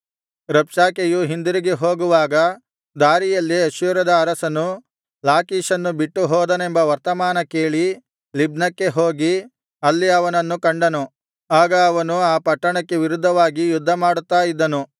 ರಬ್ಷಾಕೆಯು ಹಿಂದಿರುಗಿ ಹೋಗುವಾಗ ದಾರಿಯಲ್ಲಿ ಅಶ್ಶೂರದ ಅರಸನು ಲಾಕೀಷನ್ನು ಬಿಟ್ಟು ಹೋದನೆಂಬ ವರ್ತಮಾನ ಕೇಳಿ ಲಿಬ್ನಕ್ಕೆ ಹೋಗಿ ಅಲ್ಲಿ ಅವನನ್ನು ಕಂಡನು ಆಗ ಅವನು ಆ ಪಟ್ಟಣಕ್ಕೆ ವಿರುದ್ಧವಾಗಿ ಯುದ್ಧಮಾಡುತ್ತಾ ಇದ್ದನು